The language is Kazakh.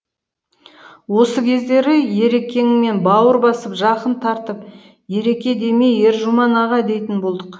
осы кездері ерекеңмен бауыр басып жақын тартып ереке демей ержұман аға дейтін болдық